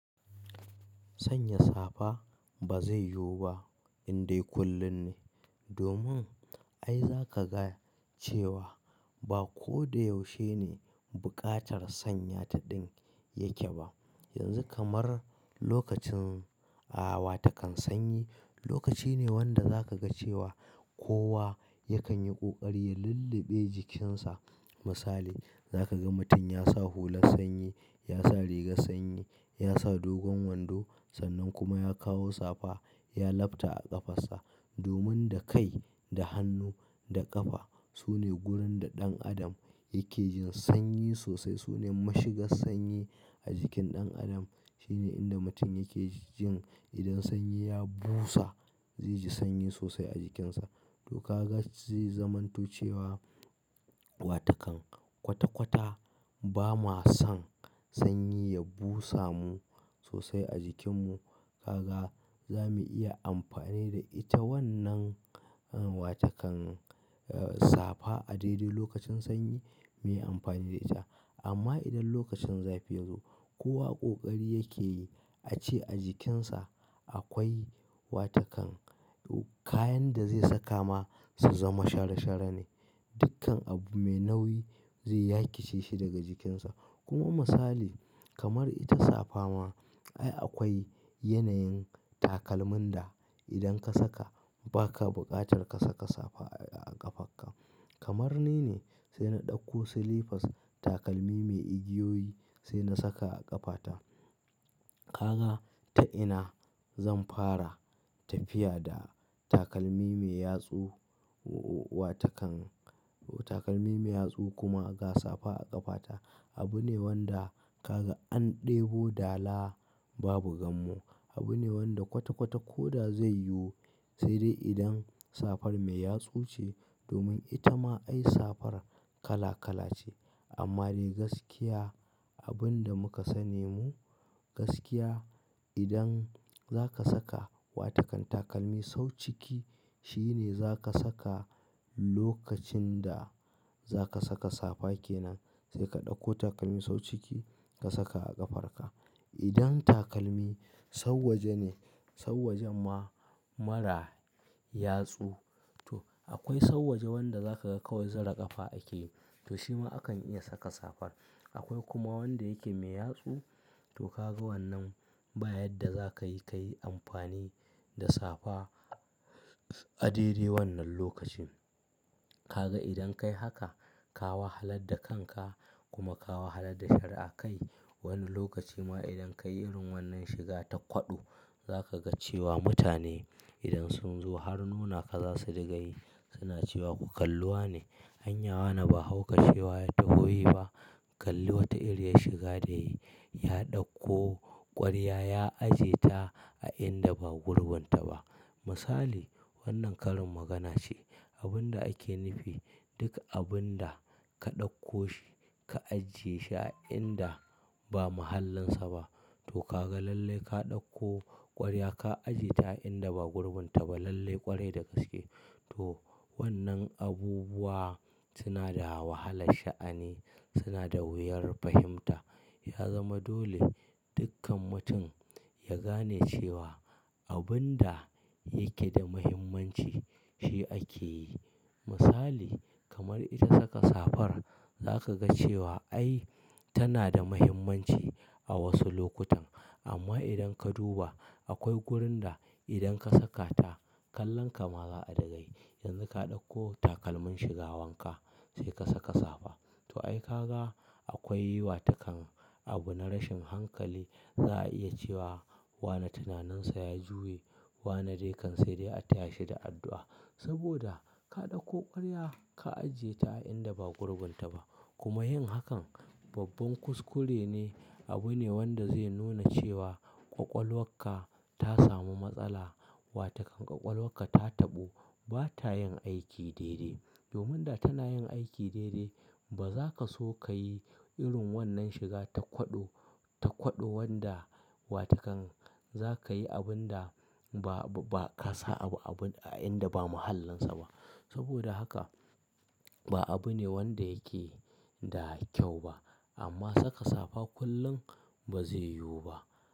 Sanya safa ba zai yiwu ba indai kullin ne. Domin ai za ka ga cewa ba ko da yaushe ne buƙatar sanya ta ɗin yake ba. Yanzu kamar lokacin a wa takan sanyi, lokaci ne wanda za ka ga cewa kowa yakan yi ƙoƙari ya lulluɓe jikinsa. Misali, za ka ga mutum ya sa hular sanyi, ya sa rigar sanyi, ya sa dogon wando sannan kuma ya kawo safa ya lafta a ƙafarsa. Domin da kai da hannu da ƙafa su ne gurin da ɗan adam yake jin sanyi sosai. Su ne mashigar sanyi a jikin ɗan adam. Shi ne inda mutum yake jin idan sanyi ya busa, zai ji sanyi sosai a jikinsa. To ka ga zai zaman to cewa wa takan kwata kwata ba ma san sanyi ya busa mu sosai a jikinmu. Ka ga za mu iya amfani da ita wannan, wa takan safa a dai dai lokacin sanyi mu yi amfani da ita. Amma idan lokacin zafi yazo, kowa ƙoƙari yake yi a ce a jikinsa akwai wa takan, kayan da zai saka ma su zama shara shara ne. Dukkan abu mai nauyi zai yakice shi daga jikinsa. Kuma masali kamar ita safa ma, ai akwai yanayin takalmin da idan ka saka baka buƙatar ka saka safa a ƙafarka. Kamar ni ne sai na ɗauko slippers takalmi mai igiyoyi sai na saka a ƙafata. Ka ga ta ina zan fara tafiya da takalmi mai yatsu, wa takan, takalmi mai yatsu kuma ga safa a ƙafata. Abu ne wanda ka ga an ɗebo dala babu gammo. Abu ne wanda kwata kwata ko da zai yiwu sai dai idan safar mai yatsu ce. Domin ita ma ai safar kala-kala ce. Amma dai gaskiya abun da muka sani mu gaskiya, idan zaka saka wa takan takalmi sau ciki shi ne zaka saka lokacin da zaka saka safa ke nan sai ka ɗauko takalmi sau ciki ka saka a ƙafarka. Idan takalmi sau waje ne, sau waje ma mara yatsu. To akwai sau waje wanda za ka ga kawai zira ƙafa ake yi. To shi ma akan iya saka safar. Akwai kuma wanda yake mai yatsu. To ka ga wannan ba yadda za ka yi, ka yi amfani da safa a dare wannan lokacin. Ka ga idan ka yi haka, ka wahalad da kanka kuma ka wahalar da shari'a kai. Wani lokaci ma idan kayi irin wannan shiga ma ta kwaɗo zaka ga cewa mutane idan sun zo har nunaka zasu diga yi suna cewa "Ku kalli wane, anyawa wane ba hauka cewa ya taho yi ba" Kalli wata irin ya shiga da ya ɗauko ƙwarya ya ajiye ta a inda ba gurbunta ba." Misali wannan karin magana ce. Abun da ake nufi duk abin da ka ɗauko shi ka ajiye shi a inda ba mahallinsa ba. To ka ga lallai ka ɗauko ƙwarya ka ajiye ta a inda ba gurbunta ba lallai ƙwari da gaske. To wannan abubuwa suna da wahalar sha'ani, suna da wuyar fahimta. Ya zama dole dukkan mutun ya gane cewa abin da yake da muhimmanci shi ake yi. Musali kamar ita saka safa, za ka ga cewa ai tana da muhimmanci a wasu lokutan. Amma idan ka duba akwai gurin da idan ka saka ta kallonka ma za a riga yi. Yanzu ka ɗauko takalmin shiga wanka sai ka saka safa. To ai ka ga akwai wa takan abu na rashin hankali. Za a iya cewa wane tunaninsa ya juya, wane dai kan sai dai a taya shi da addu'a. Saboda ka ɗauko ƙwarya ka ajiye ta a inda ba gurbunta ba. Kuma yin hakan babban kuskure ne. Abu ne wanda zai nuna cewa ƙwaƙwalwarka ta samu matsala. Wa takan ƙwaƙwalwarka ta taɓo, ba ta yin aiki daidai. Domin da tana yin aiki daidai, ba za ka so ka yi irin wannan shiga ta kwaɗo, ta kwaɗo wanda wa takan za ka yi abun da ba, ba ka sa abu, abun a inda ba mahallinsa ba. Saboda haka ba abu ne wanda yake da kyau ba. Amma saka safa kullum ba zai yiwu ba.